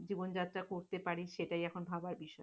জীবনযাত্রা করতে পারি সেটাই এখন ভাবার বিষয়।